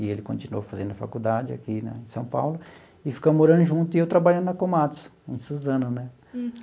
E ele continuou fazendo faculdade aqui né em São Paulo e ficamos morando junto e eu trabalhando na Komatsu, em Suzano né.